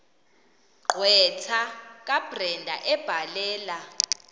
gqwetha kabrenda ebhalela